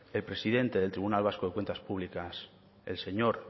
el presidente del tribunal vasco de cuentas públicas el señor